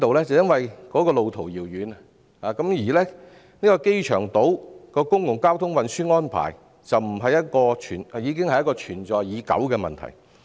是路途遙遠，而機場島的公共交通運輸安排已是存在已久的問題。